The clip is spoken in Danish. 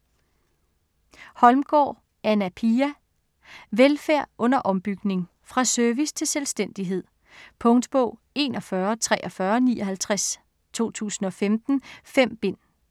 Holmgaard, Anna Pia: Velfærd under ombygning Fra service til selvstændighed. Punktbog 414359 2015. 5 bind.